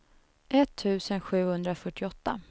etttusen sjuhundrafyrtioåtta